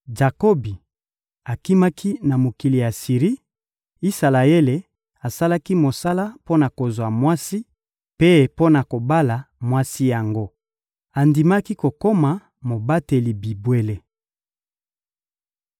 Jakobi akimaki na mokili ya Siri; Isalaele asalaki mosala mpo na kozwa mwasi; mpe mpo na kobala mwasi yango, andimaki kokoma mobateli bibwele.